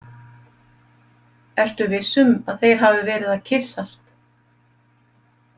Ertu viss um að þeir hafi verið að kyssast?